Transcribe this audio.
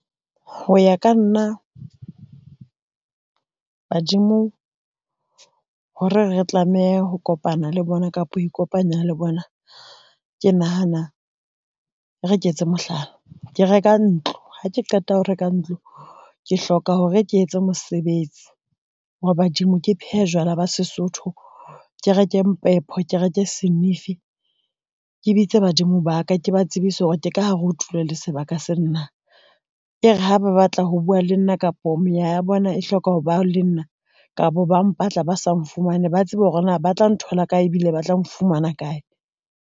Ho ya ka nna ba badimo, hore re tlameha ho kopana le bona kapa ho ikopanya le bona, ke nahana re ke etse mohlala, ke reka ntlo ha ke qeta ho reka ntlo, ke hloka hore ke etse mosebetsi wa badimo ke phehe jwala ba Sesotho ke reke reke senifi, ke bitse badimo ba ka, ke ba tsebise hore ke ka hare ho tulo le sebaka sena. E re ha ba batla ho bua le nna kapo meya ya bona e hloka ho ba le nna kapa ba mpatla ba sa nfumane, ba tsebe hore na ba tla nthola kae ebile ba tla nfumana kae.